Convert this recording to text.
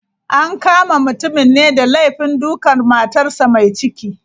An kama mutumin ne da laifin dukan matarsa ​​mai ciki.